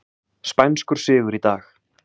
Spænskur sigur í dag